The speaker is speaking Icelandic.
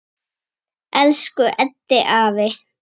Elsku Eddi afi.